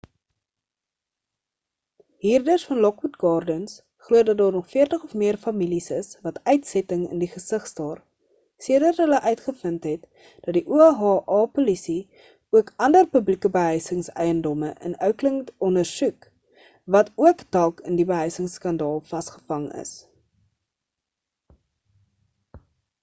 huurders van lockwood gardens glo dat daar nog 40 of meer families is wat uitsetting in die gesig staar sedert hulle uitgevind het dat die oha-polisie ook ander publieke behuisingseiendomme in oakland ondersoek wat ook dalk in die behuisingsskandaal vasgevang is